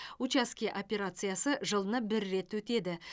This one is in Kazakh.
учаске операциясы жылына бір рет өтеді